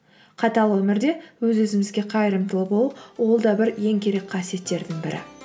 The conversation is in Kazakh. қатал өмірде өз өзімізге қайырымдылы болу ол да бір ең керек қасиеттердің бірі